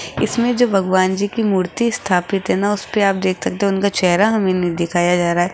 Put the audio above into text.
इसमें जो भगवान जी की मूर्ति स्थापित है ना उस पे आप देख सकते हो उनका चेहरा हमें नहीं दिखाया जा रहा है।